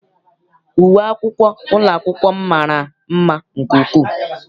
Uwe akwụkwọ ụlọ akwụkwọ m mara mma nke ukwuu.